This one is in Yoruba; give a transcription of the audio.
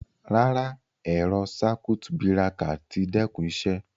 Ràrá, ẹ̀rọ̀ sákùt bíràkà tí dẹ́kún ìṣẹ